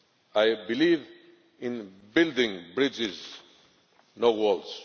I believe in building bridges, not walls.